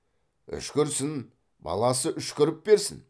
үшкірсін баласы үшкіріп берсін